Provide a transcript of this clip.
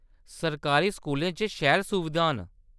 सरकारी स्कूलें च शैल सुविधां न।